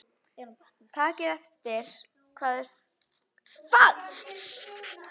Takið eftir hvað þeir eru fagurgljáandi.